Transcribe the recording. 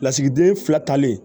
Lasigiden fila talen